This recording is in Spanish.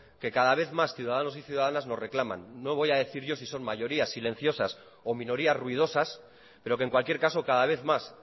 que cada vez más ciudadanos y ciudadanas nos reclaman no voy a decir yo si son mayorías silenciosas o minorías ruidosas pero que en cualquier caso cada vez más